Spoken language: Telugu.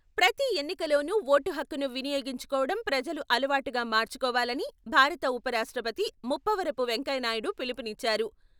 ప్రతి ఎన్నికలోనూ ఓటు హక్కును వినియోగించుకోవడం ప్రజలు అలవాటుగా మార్చుకోవాలని భారత ఉప రాష్ట్రపతి ముప్పవరపు వెంకయ్యనాయుడు పిలుపునిచ్చారు.